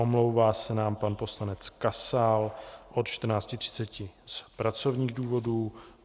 Omlouvá se nám pan poslanec Kasal od 14.30 z pracovních důvodů.